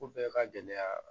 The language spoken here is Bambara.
Ko bɛɛ ka gɛlɛya